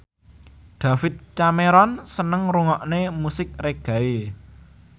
David Cameron seneng ngrungokne musik reggae